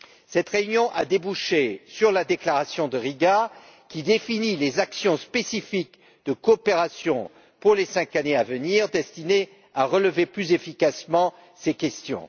Cette réunion a débouché sur la déclaration de Riga, qui définit les actions spécifiques de coopération pour les cinq années à venir, destinées à relever plus efficacement ces questions.